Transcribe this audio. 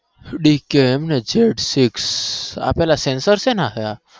આપેલા છે ને